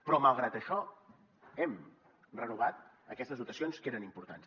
però malgrat això hem renovat aquestes dotacions que eren importants